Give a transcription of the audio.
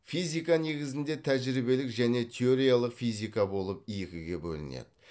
физика негізінде тәжірибелік және теориялық физика болып екіге бөлінеді